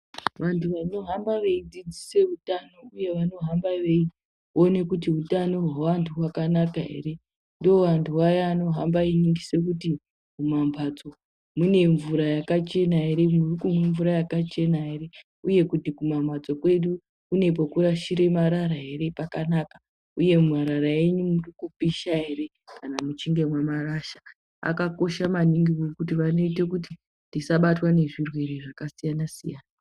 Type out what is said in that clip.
Vantu vanohamba veidzidzise utano uye vanohamba veiona kuti utano hweanhu hwakanaka ere ndiwo antu aya vanohamba einingise kuti mumambatso mune mvura yakachena ere murikumwe mvura yakachena ere uye kuti kumamhatso kwedu kune kwekurashire marara ere pakanaka uye marara enyu murikupisha ere kana muchinge mwamarasha akakosha maningi ngekuti vanoite kuti tisabatwa ngezvirwere zvakasiyanasiyana.